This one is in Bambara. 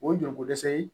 O ye joli ko dɛsɛ ye